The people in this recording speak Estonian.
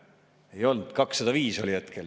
Ei olnud, 205 oli hetkel.